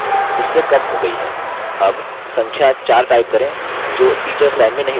अब संख्या 4 type करें जो teachers line में नहीं दर्शाया गया है